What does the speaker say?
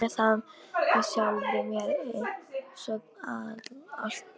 Geymi það með sjálfri mér einsog allt annað.